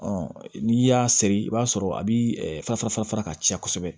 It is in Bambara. n'i y'a seri i b'a sɔrɔ a bi fa fara ka ca kosɛbɛ